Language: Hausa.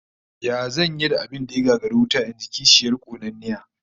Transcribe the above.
Yaya zan yi da abin da ya gagari wuta? In ji kishiyar konanniya